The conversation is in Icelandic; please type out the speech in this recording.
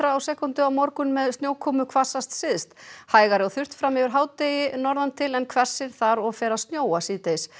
á sekúndu á morgun með snjókomu hvassast syðst hægari og þurrt fram yfir hádegi n til en hvessir þar og fer að snjóa síðdegis